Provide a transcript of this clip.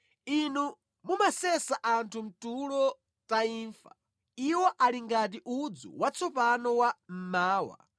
Inu mumasesa anthu mʼtulo ta imfa, iwo ali ngati udzu watsopano wa mmawa,